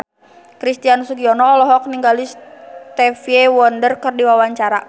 Christian Sugiono olohok ningali Stevie Wonder keur diwawancara